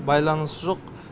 байланысы жоқ